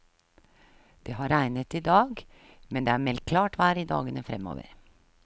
Det har regnet idag, men det er meldt klart vær i dagene fremover.